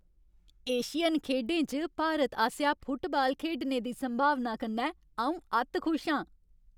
Asian खेढें च भारत आसेआ फुटबाल खेढने दी संभावना कन्नै अऊं अत्त खुश आं ।